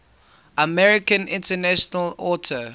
american international auto